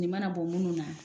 Nin mana bɔ minnu na